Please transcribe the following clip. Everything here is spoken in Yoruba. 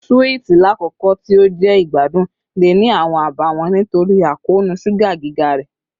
Suwiti, lakoko ti o jẹ igbadun, le ni awọn abawọn nitori akoonu suga giga rẹ